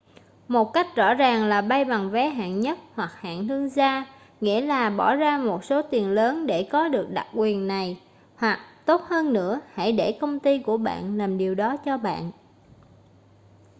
một cách rõ ràng là bay bằng vé hạng nhất hoặc hạng thương gia nghĩa là bỏ ra một số tiền lớn để có được đặc quyền này hoặc tốt hơn nữa hãy để công ty của bạn làm điều đó cho bạn